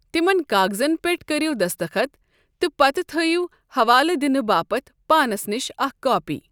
تِمَن کاغزَن پٮ۪ٹھ کٔرِو دستخط، تہٕ پتہٕ تھٲیِو حوالہٕ دِنہٕ باپتھ پانَس نِش اکھ کاپی۔